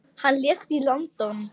Hann lést í London.